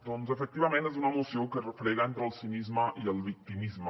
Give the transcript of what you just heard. doncs efectivament és una moció que es refrega entre el cinisme i el victimisme